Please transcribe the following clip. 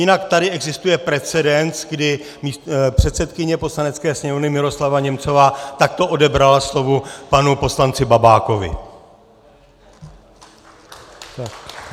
Jinak tady existuje precedens, kdy předsedkyně Poslanecké sněmovny Miroslava Němcová takto odebrala slovo panu poslanci Babákovi.